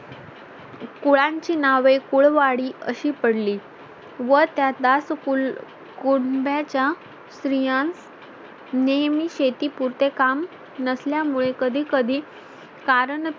कुळांची नावे कुळ वाडी अशी पडली व त्यात दास कुल कुणब्याच्या स्त्रियास नेहमी शेती पुरते काम नसल्यामुळे कधी कधी कारण